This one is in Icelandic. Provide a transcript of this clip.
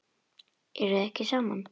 Eruð þið ekki saman?